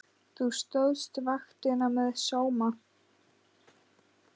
Þú stóðst vaktina með sóma.